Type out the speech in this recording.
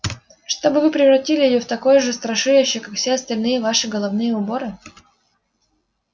чтобы вы превратили её в такое же страшилище как все остальные ваши головные уборы